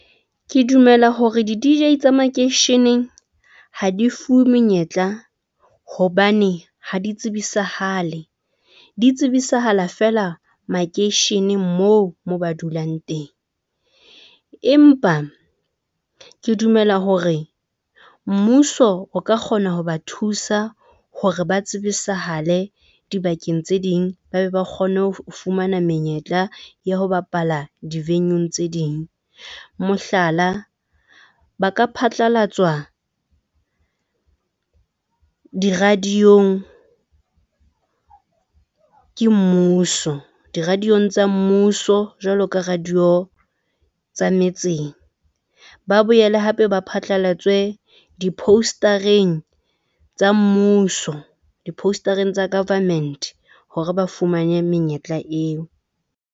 Ke dumela hore di-D_J tsa makeisheneng ha di fuwe menyetla hobane ha di tsebisahale di tsebisahala fela makeisheneng moo mo ba dulang teng. Empa ke dumela hore mmuso o ka kgona ho ba thusa hore ba tsebisahale dibakeng tse ding. Ba be ba kgone ho fumana menyetla ya ho bapala di-venue-ng tse ding mohlala, ba ka phatlalatswa di-radio-ng ke mmuso di-radio-ng tsa mmuso jwalo ka radio tsa metseng. Ba boele hape ba phatlalatswe di-poster-eng tsa mmuso, di-poster-eng tsa government hore ba fumane menyetla eo.